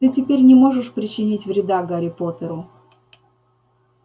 ты теперь не можешь причинить вреда гарри поттеру